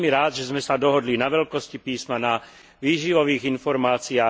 Som veľmi rád, že sme sa dohodli na veľkosti písma, na výživových informáciách.